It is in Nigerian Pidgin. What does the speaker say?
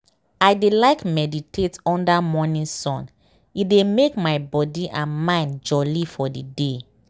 i dey like meditate under morning sun e dey make my body and mind mind jolly for the day.